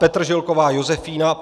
Petržilková Josefína